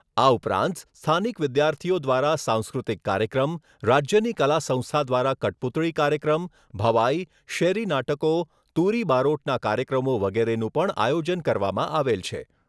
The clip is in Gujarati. આ ઉપરાંત સ્થાનિક વિદ્યાર્થીઓ દ્વારા સાંસ્કૃતિક કાર્યક્રમ, રાજ્યની કલાસંસ્થા દ્વારા કઠપૂતળી કાર્યક્રમ, ભવાઈ, શેરી નાટકો, તુરી બારોટના કાર્યક્રમો વગેરેનું પણ આયોજન કરવામાં આવેલ છે.